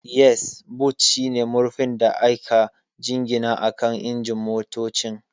Yes, boot shine murfin da aka jingina akan injin motocin.